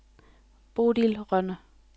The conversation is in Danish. Bodil Rønne